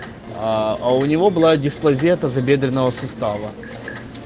а а у него была дисплазия тазобедренного сустава